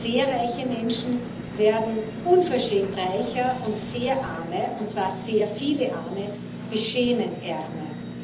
Sehr reiche Menschen werden unverschämt reicher, und sehr arme und zwar sehr viele Arme beschämend ärmer.